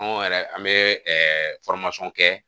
Anw yɛrɛ an bɛ ɛɛ kɛ